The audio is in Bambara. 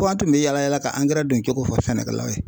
Fɔ an tun bɛ yala yala ka angɛrɛ don cogo fɔ sɛnɛkɛlaw ye.